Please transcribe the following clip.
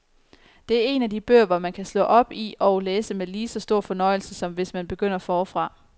Det er en af de bøger, hvor man kan slå op i og læse med lige så stor fornøjelse som hvis man begynder forfra.